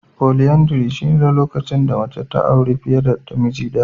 Folyandary shine lokacin da mace ta auri fiye da miji daya.